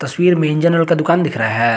तस्वीर में engine oil का दुकान दिख रहा है।